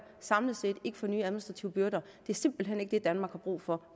samlet set ikke får nye administrative byrder det er simpelt hen ikke det danmark har brug for